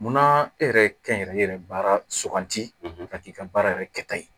Munna e yɛrɛ kɛnyɛrɛye yɛrɛ baara suganti ka k'i ka baara yɛrɛ kɛta ye